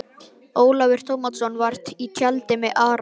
Ólafur Tómasson var í tjaldi með Ara.